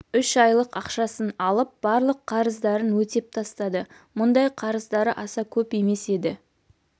үш айлық ақшасын алып барлық қарыздарын өтеп тастады мұндай қарыздары аса көп емес еді